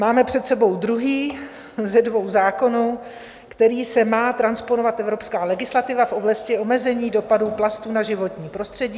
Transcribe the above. Máme před sebou druhý ze dvou zákonů, kterým se má transponovat evropská legislativa v oblasti omezení dopadů plastů na životní prostředí.